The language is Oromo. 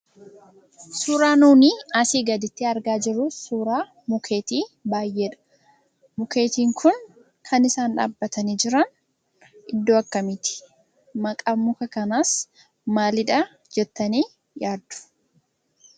Suuraa nuti asii gaditti argaa jirru suuraa mukeetii baay'eedha. Mukeetiin kun kan isaan dhaabbatanii jiran iddoo akkamiiti? Maqaan muka kanaas maalidha jettanii yaaddu?